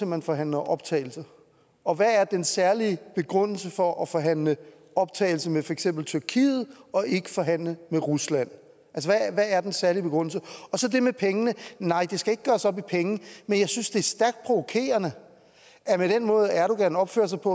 man forhandler optagelse og hvad er den særlige begrundelse for at forhandle optagelse med for eksempel tyrkiet og ikke forhandle med rusland hvad er den særlige begrundelse og så det med pengene nej det skal ikke gøres op i penge men jeg synes det er stærkt provokerende at med den måde erdogan opfører sig på